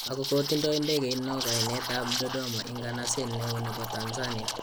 ako ko tindai ndegeit no kainet ab Dodoma ins'ganaseet neo nebo Tanzania